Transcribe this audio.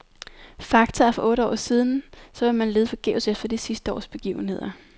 Fakta er fra for otte år siden , så man vil lede forgæves efter de sidste års begivenheder.